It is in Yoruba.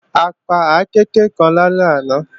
A pa àkééke lálẹ́ àná